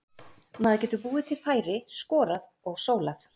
Maður getur búið til færi, skorað og sólað.